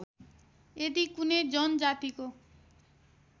यदि कुनै जनजातिको